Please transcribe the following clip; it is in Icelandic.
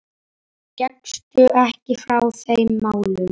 Gekkstu ekki frá þeim málum?